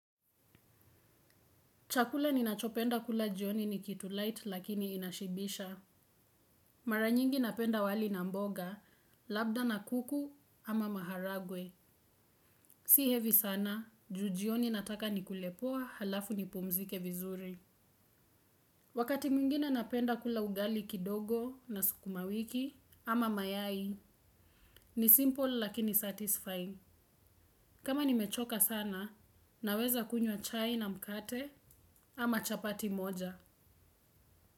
Chakula ninachopenda kula jioni ni kitu light lakini inashibisha. Mara nyingi napenda wali na mboga, labda na kuku ama maharagwe. Si heavy sana, juu jioni nataka nikule poa halafu nipumzike vizuri. Wakati mwingine napenda kula ugali kidogo na sukumawiki ama mayai, ni simple lakini satisfying. Kama nimechoka sana, naweza kunywa chai na mkate ama chapati moja.